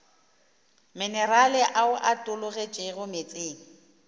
minerale ao a tologetšego meetseng